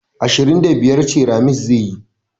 Ashirin da biyar ceramis zai yi